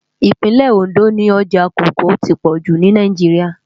Ipinlè-Óndó ni òjá kòókòó ti pòjú ni Náijiriá